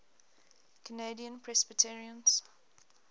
canadian presbyterians